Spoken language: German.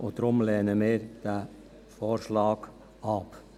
Deshalb lehnen wir diesen Vorschlag ab.